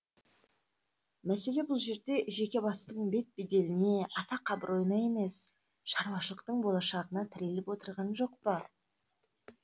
мәселе бұл жерде жеке бастың бет беделіне атақ абыройына емес шаруашылықтың болашағына тіреліп отырған жоқ па